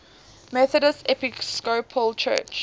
methodist episcopal church